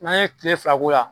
N'an ye kile fila k'o la